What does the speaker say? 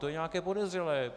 To je nějaké podezřelé.